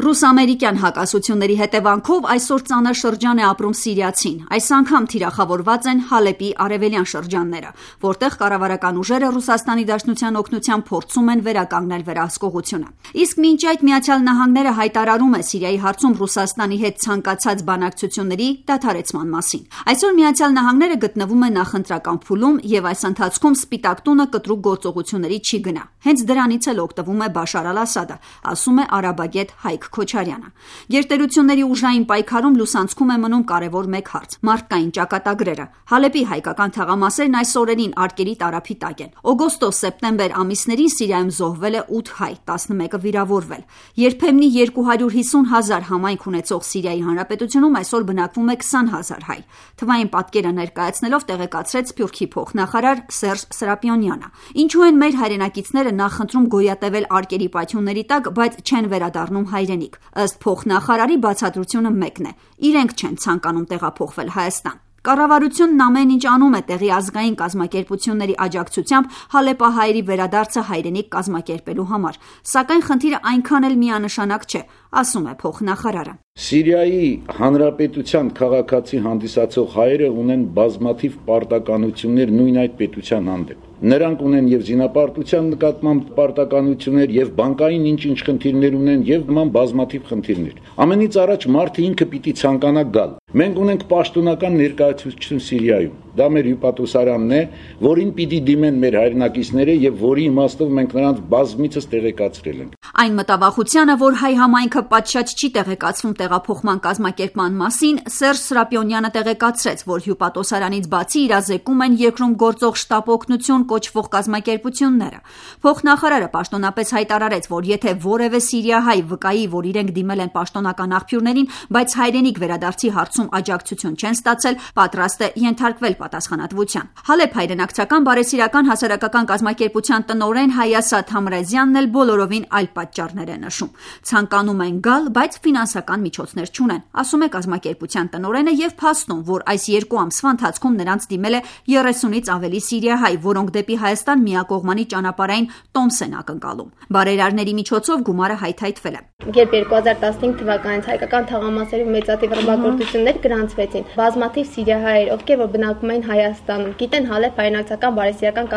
Ռուս- ամերիկյան հակասությունների հետևանքով այսօր ծանր շրջան է ապրում սիրիացին: Այս անգամ թիրախավորված են Հալեպի արևելյան շրջանները, որտեղ կառավարական ուժերը՝ ՌԴ օգնությամբ, փորձում են վերականգնել վերահսկողությունը: Իսկ մինչ այդ` Միացյալ Նահանգները հայտարարում է Սիրիայի հարցում Ռուսաստանի հետ ցանկացած բանակցությունների դադարեցման մասին։ Այսօր ԱՄՆ- ը գտնվում է նախընտրական փուլում եւ այս ընթացքում Սպիտակ տունը կտրուկ գործողությունների չի գնա։ Հենց դրանից էլ օգտվում է Բաշար Ասադը՝ ասում է արաբագետ Հայկ Քոչարյանը։ Գերտերությունների ուժային պայքարի լուսանցքում է մնում կարևոր մեկ հարց՝ մարդկային ճակատագրերը։ Հալեպի հայկական թաղամասերն այս օրերին արկերի տարափի տակ է: Օգոստոսից մինչ այսօր Սիրիայում զոհվել է 8 հայ, 11-ը վիրավորվել: «Երբեմնի 250 հազար համայնք ունեցող Սիրիայի Հանրապետությունում այսօր բնակվում է 20 հազար հայ»,- թվային պատկերը ներկայացնելով՝ տեղեկացրեց Սփյուռքի փոխնախարար Սերժ Սրապիոնյանը: Ինչո՞ւ են մեր հայրենակիցները նախընտրում գոյատևել արկերի պայթյունների տակ, բայց չեն վերադառնում հայրենիք: Ըստ փոխնախարարի՝ բացատրությունը մեկն է՝ իրենք չեն ցանկանում տեղափոխվել Հայաստան։ Կառավարությունն ամեն ինչ անում է տեղի ազգային կազմակերպությունների աջակցությամբ հալեպահայերի վերադարձը հայրենիք կազմակերպելու համար։ Սակայն խնդիրը այնքան էլ միանշանակ չէ՝ ասում է փոխնախարարը։ «Սիրիայի Հանրապետության քաղաքացի հանդիսացող հայերն ունեն բազմաթիվ պարտավորություններ իրենց երկրի առջև: Զինապարտությունից չխուսափելու, բանկային գործարքների, նման բազմաթիվ խնդիրներ: Մարդն ինքը պետք է ցանկանա գալ: Ունենք պաշտոնական ներկայացուցչություն՝ հյուպատոսարանը, որին պետք է դիմեն ցանկացողները»։ Այն մտավախությանը, որ հայ համայնքը պատշաճ չի տեղեկացվում տեղափոխման կազմակերպման մասին՝ Սերժ Սրապիոնյանը տեղեկացրեց, որ հյուպատոսարանից բացի իրազեկում են երկրում գործող «շտապ օգնություն» կոչվող կազմակերպությունները; Փոխնախարարը պաշտոնապես հայտարարեց, որ եթե որևէ սիրիահայ վկայի, որ իրենք դիմել են պաշտոնական աղբյուրներին, բայց հայրենիք վերադարձի հարցում աջակցություն չեն ստացել, պատրաստ են ենթարկվել պատասխանատվության: «Հալեպ» հայրենակցական բարեսիրական հասարակական կազմակերպության տնօրեն Հայասա Թամրազյանը բոլորովին այլ պատճառներ է նշում։ «Ցանկանում են գալ, բայց ֆինանսական միջոցներ չունեն»,- ասում է կազմակերպության տնօրենը և փաստում, որ այս երկու ամսվա ընթացքում նրանց դիմել է 30-ից ավելի սիրիահայ, որոնք դեպի Հայաստան միակողմանի ճանապարհային տոմս են ակնկալում։ Բարերարների միջոցով գումարը հայթայթվել է: 2015 թվականից իրենց դիմեց 600 սիրիահայերից 100-ը մինչեւ նոյեմբեր կտեղափոխվեն հայրենիք՝ շեշտեց Հայասա Թամրազյանը: «Երբ 2015 թվականից Հալեպի հայկական թաղամասերում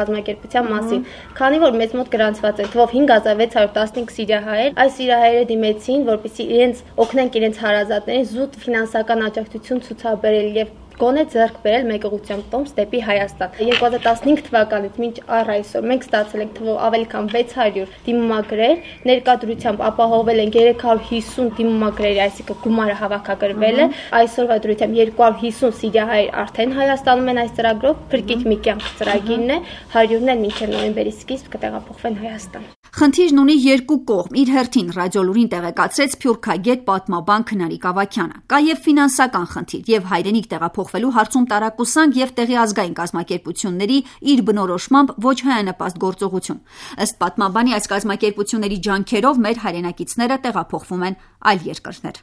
գրանցվեցին թեժ մարտեր, մեր միջոցով այստեղ բնակվող սիրիահայերը դիմեցին՝ կազմակերպելու իրենց ծանոթ-բարեկամների մուտքը երկիր: 600 դիմումագրերից 350-ի համար գումար գտնվել է։ Այսօրվա դրությամբ «Փրկիր մի կյանք» ծրագրով 250 սիրիահայ է հայրենիք վերադարձել, 100-ն էլ մինչև նոյեմբերի սկիզբ կտեղափոխվի: Խնդիրն ունի երկու կողմ՝ իր հերթին «Ռադիոլուրին» տեղեկացրեց սփյուռքագետ, պատմաբան Քնարիկ Ավագյանը: Կա եւ ֆինանսական խնդիր, և հայրենիք տեղափոխվելու հարցում տարակուսանք, եւ տեղի ազգային կազմակերպությունների, իր բնորոշմամբ, ոչ հայանպաստ գործողություն: Ըստ պատմաբանի, այս կազմակերպությունների ջանքերով մեր հայրենակիցները տեղափոխվում են այլ երկրներ։